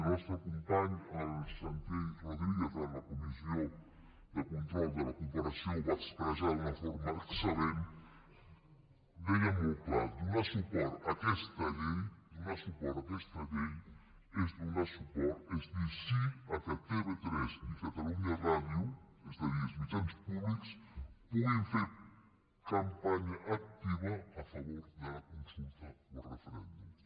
el nostre company el santi rodríguez en la comissió de control de la corporació ho va expressar d’una forma excel·lent deia molt clar donar suport a aquesta llei és dir sí al fet que tv3 i catalunya ràdio és a dir els mitjans públics puguin fer campanya activa a favor de la consulta o referèndum